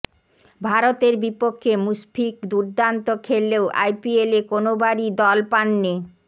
ভারতের বিপক্ষে মুশফিক দুর্দান্ত খেললেও আইপিএলে কোনোবারই দল পাননি